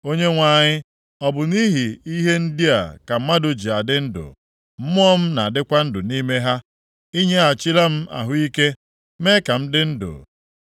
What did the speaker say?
Onyenwe anyị, ọ bụ nʼihi ihe ndị a ka mmadụ ji adị ndụ. Mmụọ m na-adịkwa ndụ nʼime ha. I nyeghachila m ahụ ike, mee ka m dị ndụ.